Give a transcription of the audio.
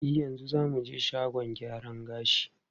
E, yanzu za mu je shagon gyaran gashi.